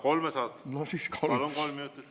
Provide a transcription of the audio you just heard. Kolmekümmend ei saa, kolm saab.